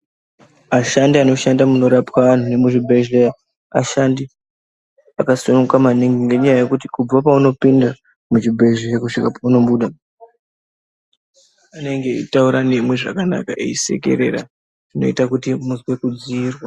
Ashandi anoshanda munorapwa anhu nemuzvibhehleya ashandi akasununguka maningi nenyaya yekuti kubva paunopinda muchibhehleya nepaunobuda anenge achitaura nemi zvakanaka eisekerera zvinoita kuti muz e kudziirwa